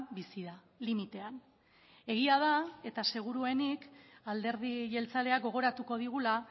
bizi da limitean egia da eta seguruenik alderdi jeltzaleak gogoratuko digula